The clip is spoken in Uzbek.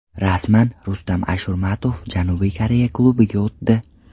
Rasman: Rustam Ashurmatov Janubiy Koreya klubiga o‘tdi.